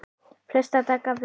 Flesta daga vik